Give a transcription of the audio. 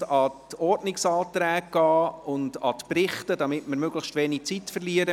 an die Ordnungsanträge und an die Berichte machen, damit wir möglichst wenig Zeit verlieren.